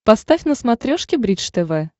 поставь на смотрешке бридж тв